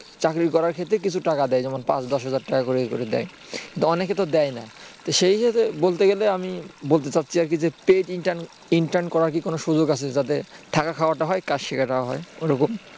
চাকরি করার ক্ষেত্রে কিছু টাকা দেয় যেমন পাঁচ দশ হাজার টাকা করে দেয় অনেকে তো দেয় না সেই হিসাবে বলতে গেলে আমি বলতে চাচ্ছি যে paid intern করার কি কোন সুযোগ আছে যাতে থাকা খাওয়াটা হয় আর কাজ শেখাটাও হয় ওরকম